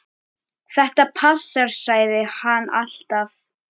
Þetta passar, sagði hann alltaf.